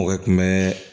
Mɔgɔ kun bɛ